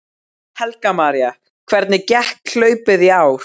Helga María: Hvernig gekk hlaupið í ár?